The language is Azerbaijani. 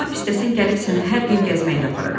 Lap istəsən gəlib səni hər gün gəzməyə də apararam.